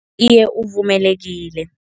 Iye, uvumelekile.